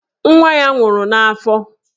Nwa ya nwụrụ n'afọ.